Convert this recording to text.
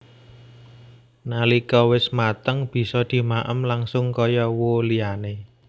Nalika wis mateng bisa dimaem langsung kaya who liyane